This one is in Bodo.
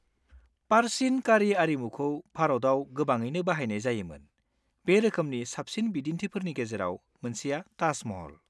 -पारचिन कारि आरिमुखौ भारताव गोबाङैनो बाहायनाय जायोमोन; बे रोखोमनि साबसिन बिदिन्थिफोरनि गेजेराव मोनसेआ ताज महल।